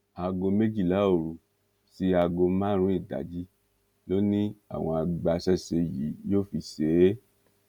aago méjìlá òru sí aago márùnún ìdájí ló ní àwọn agbaṣẹṣe yìí yóò fi ṣe é